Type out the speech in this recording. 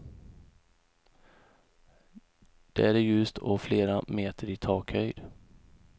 Där är ljust och flera meter i takhöjd.